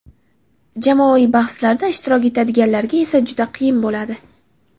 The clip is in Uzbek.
Jamoaviy bahslarda ishtirok etadiganlarga esa juda qiyin bo‘ladi.